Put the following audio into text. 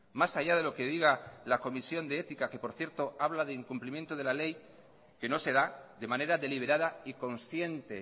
más allá de lo que diga la comisión de ética que por cierto habla de incumplimiento de la ley que no se da de manera deliberada y consciente